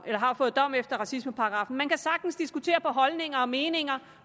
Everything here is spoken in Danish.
der har fået dom efter racismeparagraffen man kan sagtens diskutere på holdninger og meninger